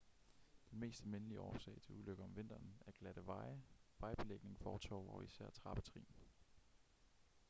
den mest almindelige årsag til ulykker om vinteren er glatte veje vejbelægning fortove og især trappetrin